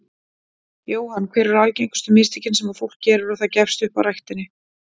Jóhann: Hver eru algengustu mistökin sem að fólk gerir og það gefst upp á ræktinni?